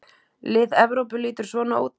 Lið Evrópu lítur svona út